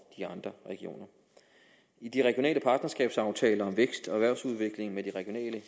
de andre regioner i de regionale partnerskabsaftaler om vækst og erhvervsudvikling med de regionale